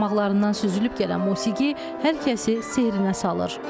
Barmaqlarından süzülüb gələn musiqi hər kəsi sehrinə salır.